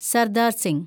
Sardar Singh